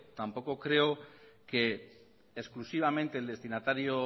tampoco creo que exclusivamente el destinatario